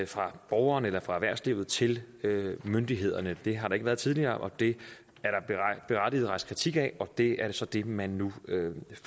fra borgeren eller fra erhvervslivet til myndighederne det har der ikke været tidligere og det er der berettiget rejst kritik af og det er så det man nu